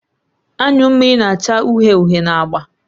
Anyụ mmiri na-acha uhie uhie na agba